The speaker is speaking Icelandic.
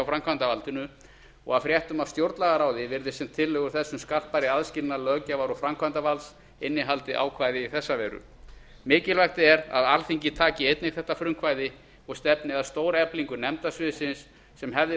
framkvæmdarvaldinu og af fréttum af stjórnlagaráði virðist sem tillögur þess um skarpari aðskilnað löggjafar og framkvæmdarvalds innihaldi ákvæði í þessa veru mikilvægt er að alþingi taki einnig þetta frumkvæði og stefni að stóreflingu nefndasviðsins sem hefði